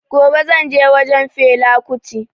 Gobe zan je wajen fela kuti